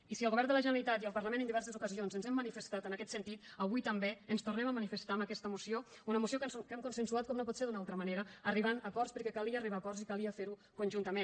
i si el govern de la generalitat i el parlament en diverses ocasions ens hem manifestat en aquest sentit avui també ens tornem a manifestar amb aquesta moció una moció que hem consensuat com no pot ser d’una altra manera arribant a acords perquè calia arribar a acords i calia fer ho conjuntament